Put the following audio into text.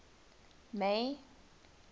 may